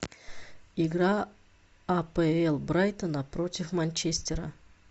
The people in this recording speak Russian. игра апл брайтона против манчестера